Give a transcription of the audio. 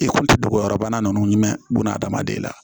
I kun tɛ dogo yɔrɔ bana nunnu jumɛn buna hadamaden la